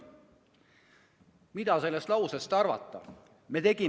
Mida sellest lausest arvata?